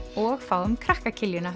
og fáum krakka